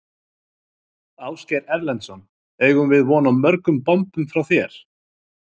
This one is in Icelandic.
Ásgeir Erlendsson: Eigum við von á mörgum bombum frá þér?